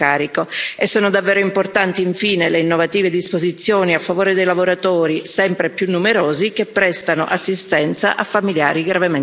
Sono davvero importanti, infine, le innovative disposizioni a favore dei lavoratori, sempre più numerosi, che prestano assistenza a familiari gravemente malati.